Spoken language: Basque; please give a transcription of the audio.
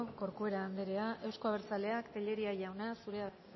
corcuera anderea euzko abertzaleak tellería jauna zurea da